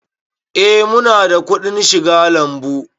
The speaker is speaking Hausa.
Eh mu na da kuɗin shiga lambu